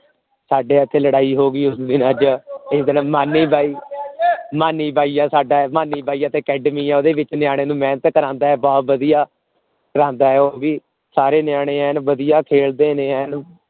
ਸਾਡੇ ਇਥੇ ਲੜਾਈ ਹੋ ਗਈ ਉਸ ਦਿਨ ਅੱਜ ਇਸ ਦਿਨ ਮਾਨੀ ਬਾਈ ਮਾਨੀ ਬਾਈ ਹੈ ਸਾਡਾ ਮਾਨੀ ਬਾਈ ਇਥੇ academy ਹੈ ਓਹਦੇ ਵਿਚ ਨੇਅੰਨੇਯੰ ਨੂੰ ਮੇਹਨਤ ਕਰਾਉਂਦਾ ਹੈ ਬਹੁਤ ਵਧੀਆ ਕਰਾਂਦਾ ਹੈ ਉਹ ਵੀ ਸਾਰੇ ਨਿਆਣੇ ਐਨ ਵਧੀਆ ਕਹਿੰਦੇ ਨੇ ਐਨ